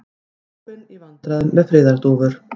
Páfinn í vandræðum með friðardúfur